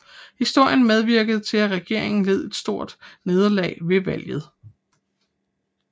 Historien medvirkede til at regeringen led et stort nederlag ved valget